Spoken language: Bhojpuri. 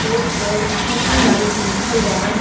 बोर्ड पर सिटी लाइफ लिखल बा।